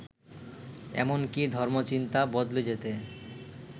এমনকি ধর্মচিন্তা বদলে যেতে